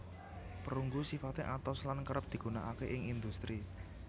Perunggu sifate atos lan kerep digunakake ing industri